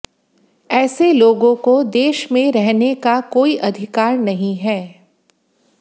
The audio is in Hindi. ऐसे लोगों को देश में रहने का कोई अधिकार नहीं है